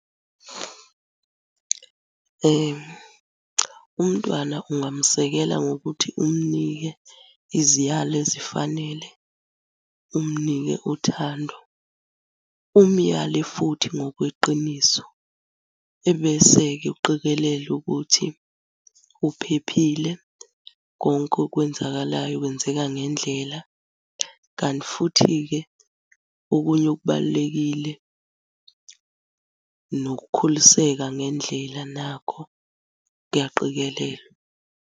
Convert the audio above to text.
Umntwana ungamuseka ngokuthi umunike iziyalo ezifanele, umunike uthando, umuyale futhi ngokweqiniso. Ebese-ke uqikelela ukuthi uphephile, konke okwenzakalayo kwenzeka ngendlela, kanti futhi-ke, okunye okubalulekile nokukhuliseka ngendlela nakho kuyaqikelelwa.